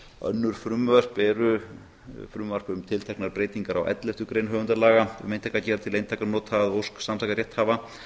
önnur frumvörp eru frumvarp um tilteknar breytingar á fyrstu grein höfundalaga um eintakagerð til einkanota að ósk samtaka rétthafa